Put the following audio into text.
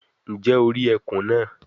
Njẹ o ri ẹkun naa